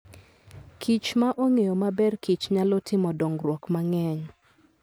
kichma ong'eyo maberkich nyalo timo dongruok mang'eny.